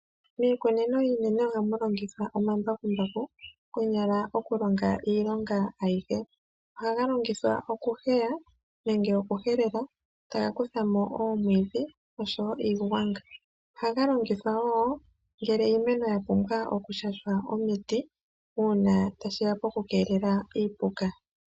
Miikunino yiimeno ohamu longithwa omambakumbaku konyala oku longa iilonga ayihe. Omambakumbaku ohaga longithwa oku heya nenge oku helela, taga kutha mo oomwidhi nosho woo iigwanga, ohaga longithwa woo oku shasha iimeno omiti, opo iimeno yi kelelwe kiipuka.